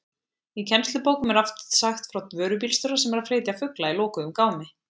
Í kennslubókum er oft sagt frá vörubílstjóra sem er að flytja fugla í lokuðum gámi.